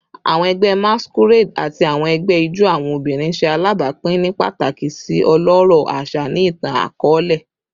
Awọn ẹgbẹ Masquerade ati awọn ẹgbẹ ijó awọn obinrin ṣe alabapin ni pataki si ọlọrọ aṣa ni itan-akọọlẹ